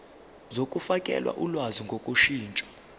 zokufakela ulwazi ngokushintsha